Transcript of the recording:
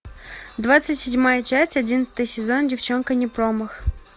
двадцать седьмая часть одиннадцатый сезон девчонка не промах